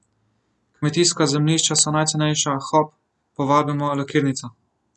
Kmetijska zemljišča so najcenejša, hop, povabimo lakirnico.